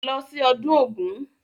Lọ sí ọdún Ògún!